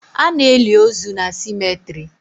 Ana eli ozu na cemetrị